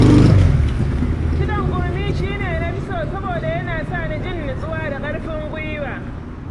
Kiɗan gurmi shi ne na fi so saboda yana sa ni jin nutsuwa da ƙarfin gwiwa.